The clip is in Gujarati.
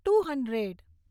to hundred